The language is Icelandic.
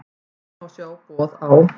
Hér má sjá boð á